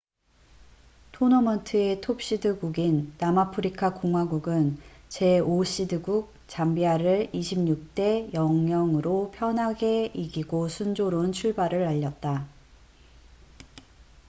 토너먼트의 톱시드 국인 남아프리카 공화국은 제5시드국 잠비아를 26 대 00으로 편하게 이기고 순조로운 출발을 알렸다